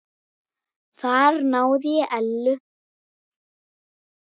Þar náði ég Ellu.